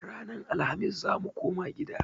Ranan Alhamis zamu koma gida